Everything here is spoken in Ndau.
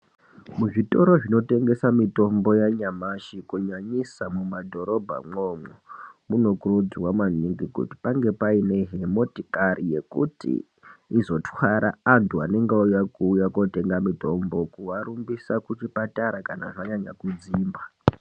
Muzvitoro zvinotengesa mutombo yanyamashi kunyanyisa mumadhorobhamwo, munokurudzirwa maningi kuti pange paine motikari yekuti izotwara antu anenge auya kotenga mitombo kuarumbisa kuchipatara kana zvanyanya kudzimba.